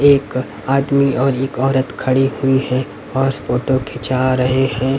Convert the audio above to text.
एक आदमी और एक औरत खड़े हुए है और फोटो खीचा रहे है।